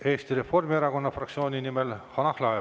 Eesti Reformierakonna fraktsiooni nimel Hanah Lahe.